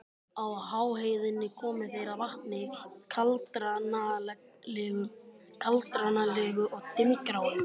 Á háheiðinni komu þeir að vatni, kaldranalegu og dimmgráu.